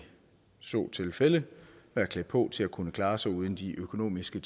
så tilfælde være klædt på til at kunne klare sig uden de økonomiske